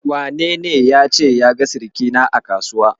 Wanene yace ya ga sirikina a Kasuwa?